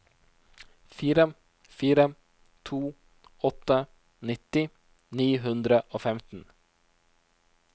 fire fire to åtte nitti ni hundre og femten